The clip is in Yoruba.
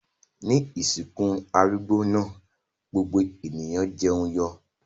Ní ìsìnkú arúgbó náà gbogbo ènìyàn jẹun yó.